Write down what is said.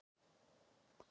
Þetta eru við gegn þeim.